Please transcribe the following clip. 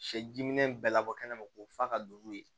Sɛ diminɛn bɛɛ labɔ kɛnɛ ma k'o fa ka don n'o ye